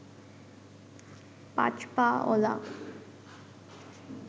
পাঁচ পা অলা